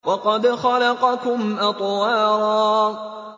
وَقَدْ خَلَقَكُمْ أَطْوَارًا